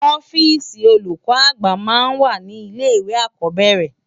Òfisi ólúkò ágbà má n wá ni ilé iwé ákòbèrè